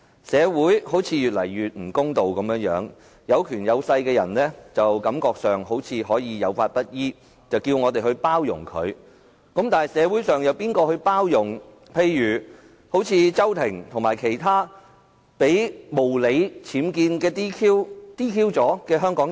社會似乎越來越不公道，有權有勢的人，似乎可以有法不依，卻叫我們去包容，但社會上又有誰包容例如周庭和其他被無理 "DQ" 的香港人？